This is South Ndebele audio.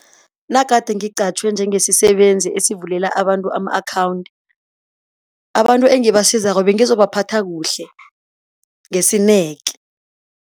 Nagade ngiqatjhwe njengesisebenzi esivulela abantu ama-akhawundi, abantu engabasizako bengizobaphatha kuhle ngesineke.